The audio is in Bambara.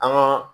An ga